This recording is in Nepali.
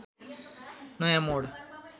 नयाँ मोड